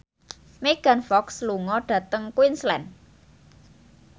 Megan Fox lunga dhateng Queensland